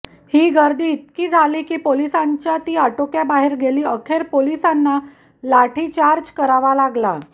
ही गर्दी इतकी झाली की पोलिसांच्या ती आटोक्याबाहेर गेली अखेर पोलिसांना लाठीचार्ज करावा लागला